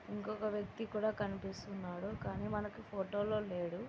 ఇంకొక వ్యక్తి కూడా కనిపిస్తున్నాడు కానీ మనకి ఫోటో లో లేడు.